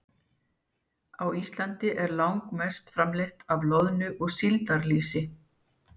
Á Íslandi er langmest framleitt af loðnu- og síldarlýsi.